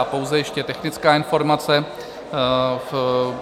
A pouze ještě technická informace.